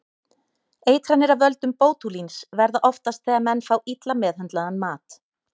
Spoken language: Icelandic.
Eitranir af völdum bótúlíns verða oftast þegar menn fá illa meðhöndlaðan mat.